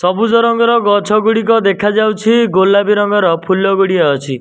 ସବୁଜ ରଙ୍ଗର ଗଛଗୁଡ଼ିକ ଦେଖାଯାଉଛି ଗୋଲାପୀ ରଙ୍ଗର ଫୁଲଗୁଡ଼ିଏ ଅଛି।